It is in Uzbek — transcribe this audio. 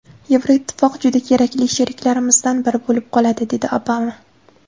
Yevroittifoq juda kerakli sheriklarimizdan biri bo‘lib qoladi”, dedi Obama.